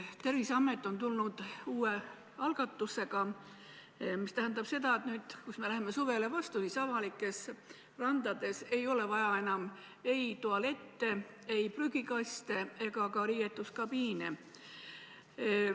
Terviseamet on välja tulnud uue algatusega: nüüd, kui me läheme suvele vastu, ei ole avalikes randades enam vaja ei tualette, prügikaste ega ka riietuskabiine.